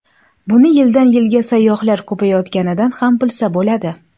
Buni yildan-yilga sayyohlar ko‘payayotganidan ham bilsa bo‘ladi.